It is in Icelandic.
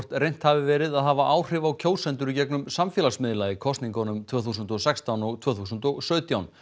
reynt hafi verið að hafa áhrif á kjósendur í gegnum samfélagsmiðla í kosningunum tvö þúsund og sextán og tvö þúsund og sautján